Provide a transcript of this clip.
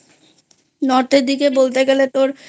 North এর দিকে বলতে গেলে তোর